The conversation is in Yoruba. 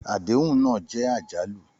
Àdéhùn náà jẹ́ àjálù.